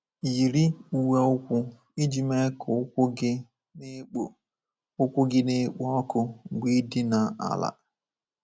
Yiri uwe ụkwụ iji mee ka ụkwụ gị na-ekpo ụkwụ gị na-ekpo ọkụ mgbe i dina ala.